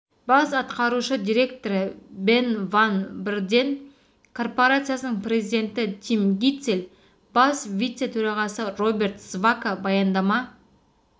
бас атқарушы директоры бен ванн брден корпорациясының президенті тим гитцель бас вице-төрағасы роберт сваака баяндама